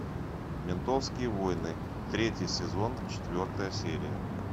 ментовские войны третий сезон четвертая серия